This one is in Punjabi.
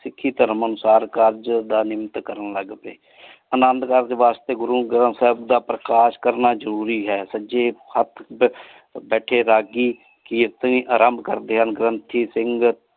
ਸਿਖੀ ਧਰਮ ਅਨੁਸਾਰ ਕਾਰਜ ਦਾ ਨਮਿੰਨਤ ਕਰਨ ਲਗ ਪਾਏ ਅਨੰਦੁ ਕਾਰਜ ਵਾਸ੍ਤੇ ਗੁਰੂ ਗਰੰਥ ਸਾਹਿਬ ਦਾ ਪ੍ਰਕਾਸ਼ ਕਰਨਾ ਜ਼ਰੂਰੀ ਹੈ ਸਜੇ ਬੈਠੇ ਰਾਗੀ ਕੀਰਤਨ ਆਰੰਭ ਕਰਦੇ ਹਨ ਤੇ ਗ੍ਰੰਥੀ ਸਿੰਘ।